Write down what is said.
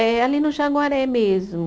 É, ali no Jaguaré mesmo.